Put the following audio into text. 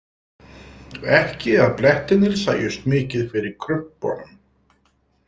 Ekki að blettirnir sæjust mikið fyrir krumpunum.